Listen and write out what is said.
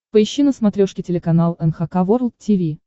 поищи на смотрешке телеканал эн эйч кей волд ти ви